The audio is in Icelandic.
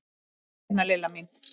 Komdu hérna Lilla mín.